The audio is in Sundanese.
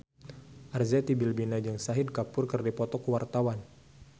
Arzetti Bilbina jeung Shahid Kapoor keur dipoto ku wartawan